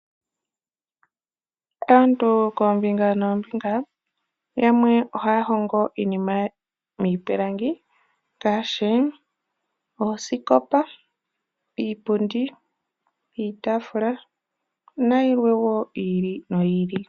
Aantu koombinga noombinga yamwe ohaya hongo iinima miipilangi, ngaashi oosikopa, iipundi, iitafula nayilwe wo yi ili noyi ili.